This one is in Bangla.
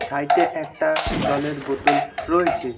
সাইডে একটা জলের বোতল রয়েছে।